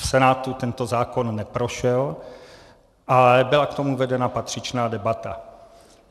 V Senátu tento zákon neprošel, ale byla k tomu vedena patřičná debata.